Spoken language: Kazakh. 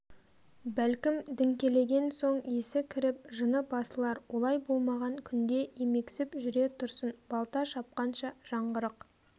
бәлкім діңкелеген соң есі кіріп жыны басылар олай болмаған күнде емексіп жүре тұрсын балта шапқанша жаңғырық